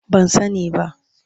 Ban sani ba.